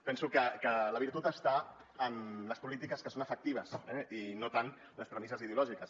penso que la virtut està en les polítiques que són efectives i no tant en les premisses ideològiques